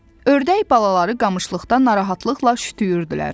Ördək balaları qamışlıqdan narahatlıqla şütüyürdülər.